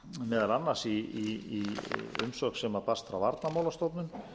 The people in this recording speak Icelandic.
meðal annars í umsögn sem barst frá varnarmálastofnun